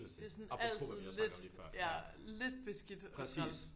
Det er sådan altid lidt ja lidt beskidt og træls